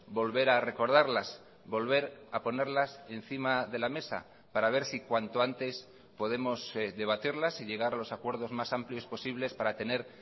volver a recordarlas volver a ponerlas encima de la mesa para ver si cuanto antes podemos debatirlas y llegar a los acuerdos más amplios posibles para tener